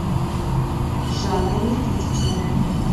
жанна никитична